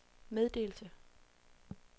meddelelse